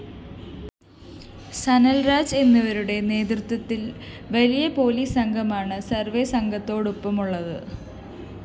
സനല്‍രാജ് എന്നിവരുടെ നേതൃത്വത്തില്‍ വലിയ പോലീസ് സംഘമാണ് സർവേ സംഘത്തോടൊപ്പമുള്ളത്